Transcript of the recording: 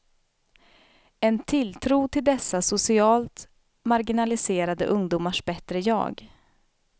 En tilltro till dessa socialt marginaliserade ungdomars bättre jag.